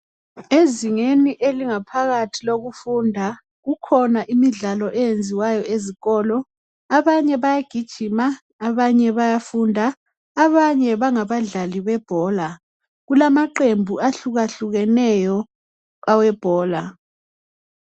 Ezingeni langaphakathi elokufunda kukhona imidlalo eyenziwayo ezikolo. Abanye bayagijima, abanye bayafunda, abanye bangabadlali bebhola. Kulamaqembu ahlukahlukeneyo awebhola.